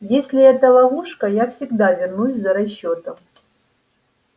если это ловушка я всегда вернусь за расчётом